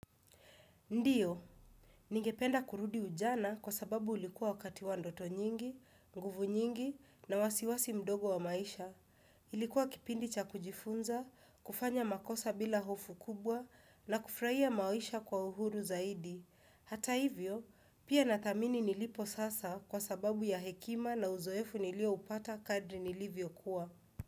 Ndiyo. Ningependa kurudi ujana kwa sababu ulikuwa wakati wa ndoto nyingi, nguvu nyingi na wasiwasi mdogo wa maisha. Ilikuwa kipindi cha kujifunza, kufanya makosa bila hofu kubwa na kufurahia maisha kwa uhuru zaidi. Hata hivyo pia nathamini nilipo sasa kwa sababu ya hekima na uzoefu nilioupata nilipokua.